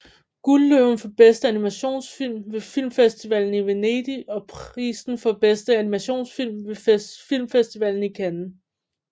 Guldløven for bedste animationsfilm ved Filmfestivalen i Venedig og prisen for bedste animationsfilm ved Filmfestivalen i Cannes